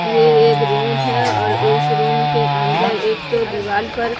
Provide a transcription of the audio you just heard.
ये एक रूम है और इस रूम के अंदर एक दो दीवार पर--